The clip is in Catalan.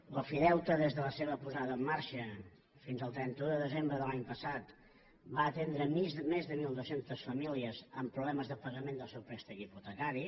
l’ofideute des de la seva posada en marxa fins al trenta un de desembre de l’any passat va atendre més de mil dos cents famílies amb problemes de pagament del seu préstec hipotecari